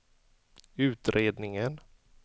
utredningen